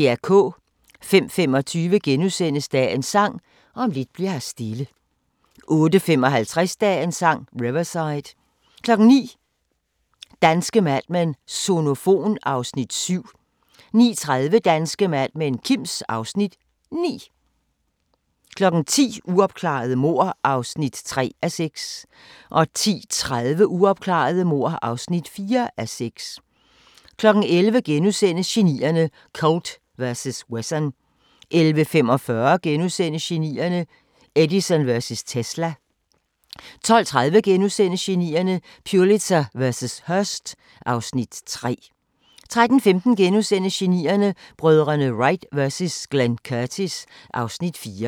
05:25: Dagens Sang: Om lidt bli'r her stille * 08:55: Dagens Sang: Riverside 09:00: Danske Mad Men: Sonofon (Afs. 7) 09:30: Danske Mad Men: Kims (Afs. 9) 10:00: Uopklarede mord (3:6) 10:30: Uopklarede mord (4:6) 11:00: Genierne: Colt vs. Wesson * 11:45: Genierne: Edison vs. Tesla (Afs. 2)* 12:30: Genierne: Pulitzer vs. Hearst (Afs. 3)* 13:15: Genierne: Brødrene Wright vs Glenn Curtis (Afs. 4)*